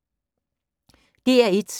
DR1